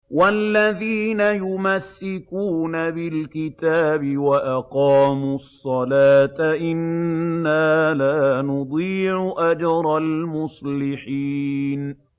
وَالَّذِينَ يُمَسِّكُونَ بِالْكِتَابِ وَأَقَامُوا الصَّلَاةَ إِنَّا لَا نُضِيعُ أَجْرَ الْمُصْلِحِينَ